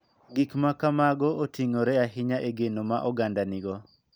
Gik ma kamago oting�ore ahinya e geno ma oganda nigo.